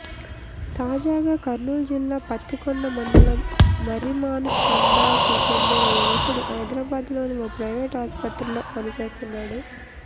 తాజాగా కర్నూలు జిల్లా పత్తికొండ మండలం మర్రిమానుతండాకు చెందిన యువకుడు హైదరాబాదులోని ఓ ప్రైవేటు ఆసుపత్రిలో పని చేస్తున్నాడు